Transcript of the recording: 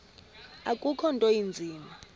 akukho nto inzima